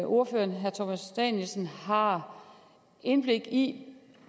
ordføreren herre thomas danielsen har indblik i